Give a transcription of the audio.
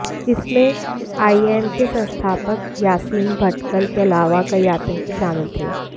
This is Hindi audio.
इसमें आईएम के संस्थापक यासीन भटकल के अलावा कई आतंकी शामिल थे